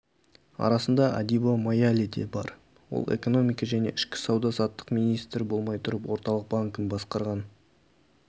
арасында адиба маяледе бар ол экономика және ішкі сауда-саттық министрі болмай тұрып орталық банкін басқарған